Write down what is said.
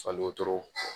Fali wotoro